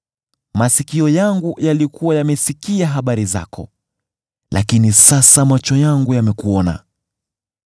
Masikio yangu yalikuwa yamesikia habari zako, lakini sasa macho yangu yamekuona.